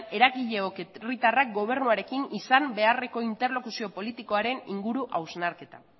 eragileok herritarrak gobernuarekin izan beharreko interlokuzio politikoaren inguru hausnarketa